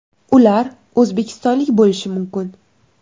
Ular o‘zbekistonlik bo‘lishi mumkin.